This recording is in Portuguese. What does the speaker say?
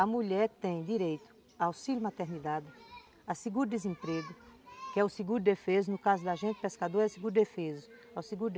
A mulher tem direito ao auxílio-maternidade, ao seguro-desemprego, que é o seguro-defeso, no caso da gente pescador, é o seguro-defeso.